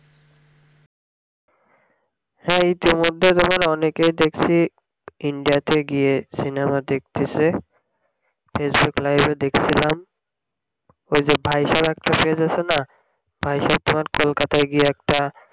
হ্যাঁ ইতি মধ্যে তোমার অনেকেই দেকসি india তে গিয়ে সিনেমা দেকতেসে facebook live এ দেকসিলাম ওই যে আছে না তোমার কলকাতাই গিয়ে একটা